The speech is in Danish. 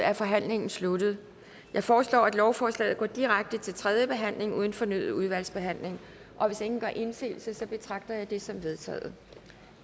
er forhandlingen sluttet jeg foreslår at lovforslaget går direkte til tredje behandling uden fornyet udvalgsbehandling og hvis ingen gør indsigelse betragter jeg det som vedtaget